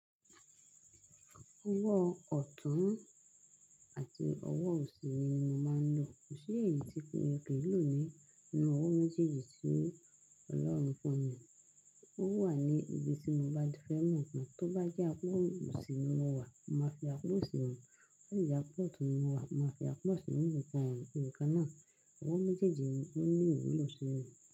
Owó ọ̀tún àti owó òsì ni mo máa ń lò. Kò sí èyí tí mo kò lè lò nínú owó méjèèjì tí Ọlọ́run fún mi. Ó wà ní ibi tí mo bá fẹ́ mọ̀ mọ̀. Tó bá jẹ́ àpótí òsì mo wà, màá fi àpótí òsì hàn. Tó jẹ́ àpótí mo wà, màá fi àpótí mi hàn. Òǹkà náà, owó méjèèjì ni ó ní òun ń lọ sí ibi.